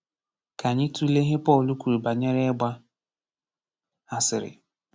Ka anyị tụlee ihe Pọl kwuru banyere ịgba asịrị.